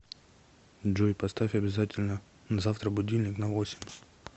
джой поставь обязательно завтра будильник на восемь